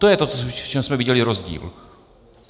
To je to, v čem jsme viděli rozdíl.